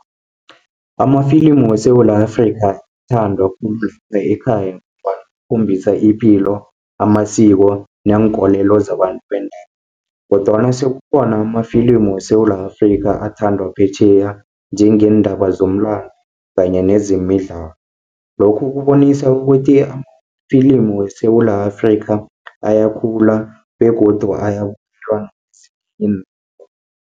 Amafilimu weSewula Afrika, akhombisa ipilo, amasiko neenkolelo zabantu kodwana sekukhona amafilimu weSewula Afrika, athandwa phetjheya njengeendaba zomlando kanye nezemidlalo. Lokhu kubonisa ukuthi amafilimu weSewula Afrika, ayakhula begodu ayabukelwa nakezinye